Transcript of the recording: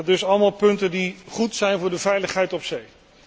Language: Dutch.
Dus allemaal punten die goed zijn voor de veiligheid op zee.